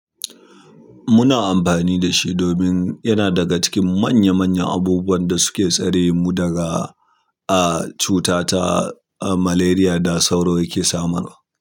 Muna amfani da shi domin yana daga cikin manya manyan abubuwan da suke tsare mu daga, ah, cuta ta, ah, malaria da sauro yake sa mana.